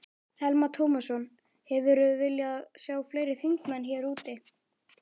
Telma Tómasson: Hefðirðu viljað sjá fleiri þingmenn hér úti?